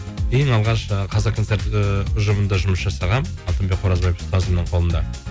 ең алғаш жаңағы қазақ концерт ііі ұжымында жұмыс жасағанмын алтынбек қоразбаев ұстазымның қолында